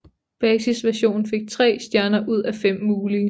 Basisversionen fik tre stjerner ud af fem mulige